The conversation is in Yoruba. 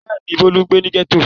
Bẹ́ẹ̀ ni, Bólú ń gbé ní gẹ́tò.